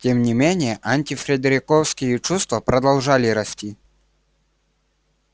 тем не менее антифредериковские чувства продолжали расти